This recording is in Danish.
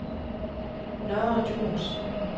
Nørre Djurs